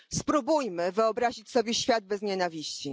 Spróbujmy wyobrazić sobie świat bez nienawiści.